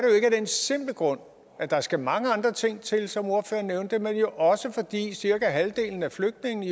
den simple grund at der skal mange andre ting til som ordføreren nævnte det men jo også fordi cirka halvdelen af flygtningene